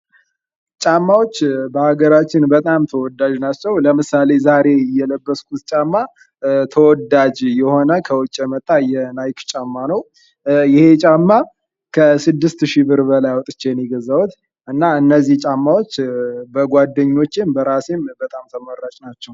ጫማዎች በአገራችን በጣም ተወዳጅ ናቸዉ። ለምሳሌ ዛሬ የለበስሁት ጫማ ተወዳጅ የሆነ ከዉጭ የመጣ የናይክ ጫማ ነዉ። ይህ ጫማ ከስድስት ሺህ ብር በላይ አዉጥቼ ነዉ የገዛሁት። እና እነዚህ ጫማዎች በጓደኞቼም በራሴም ተመራጭ ጫማዎች ናቸዉ።